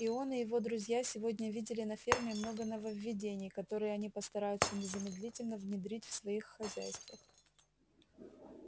и он и его друзья сегодня видели на ферме много нововведений которые они постараются незамедлительно внедрить в своих хозяйствах